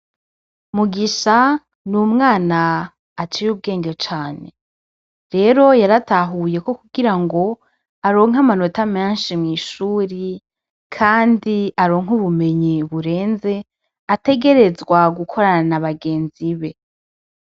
Mugisha n'umwana aciye ubwenge cane rero yaratahuye ko kugirango aronke amanota menshi mw'ishure kandi aronke ubumenyi burenze ategerezwa gukorana n'abagenzi be.